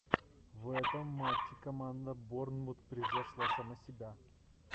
в этом матче команда борнмут превзошла сама себя